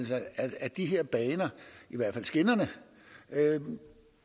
sig at de her baner eller i hvert fald skinnerne